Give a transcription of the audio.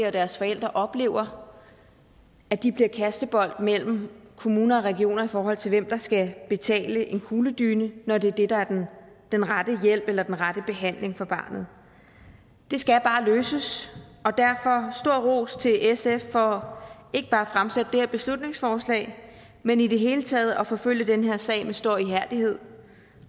og deres forældre oplever at de bliver kastebold mellem kommuner og regioner i forhold til hvem der skal betale en kugledyne når det er det der er den rette hjælp eller den rette behandling for barnet det skal bare løses og derfor stor ros til sf for ikke bare at fremsætte det her beslutningsforslag men i det hele taget at forfølge den her sag med stor ihærdighed